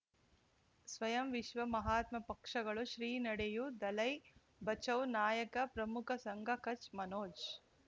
ಸ್ವಯಂ ವಿಶ್ವ ಮಹಾತ್ಮ ಪಕ್ಷಗಳು ಶ್ರೀ ನಡೆಯೂ ದಲೈ ಬಚೌ ನಾಯಕ ಪ್ರಮುಖ ಸಂಘ ಕಚ್ ಮನೋಜ್